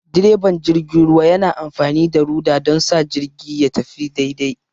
direban jirgin ruwa yana amfani da rudder don sa jirgin ya tafi daidai.